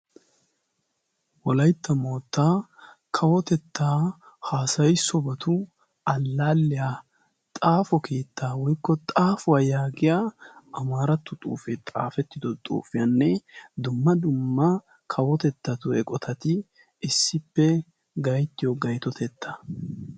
Wolaytta moottaa kawotettaa haasayi sobatu allaalliya xaafo kiittaa woykko xaafuwaa yaagiya amaarattu xuufe xaafettido xuufiyaanne dumma dumma kawotettatu eqotati issippe gaittiyo gaytotetta.